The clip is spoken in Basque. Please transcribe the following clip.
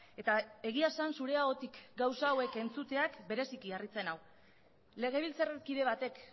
eta egia esan zure ahotik gauza hauek entzuteak bereziki harritzen nau legebiltzarkide batek